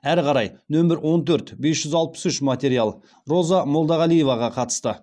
әрі қарай нөмір он төрт бес жүз алпыс үш материал роза молдағалиеваға қатысты